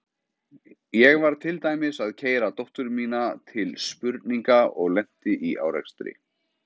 Ég var til dæmis að keyra dóttur mína til spurninga og lenti í árekstri.